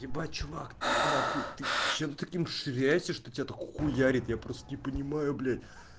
ебать чувак ты на хуй ты чем таким ширяешься что тебя так хуярят я просто не понимаю блять